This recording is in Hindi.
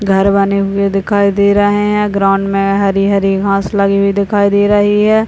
दिखाई दे रहे है ग्राउंड में हरी-हरी घास लगी हुई दिखाई दे रही हैं।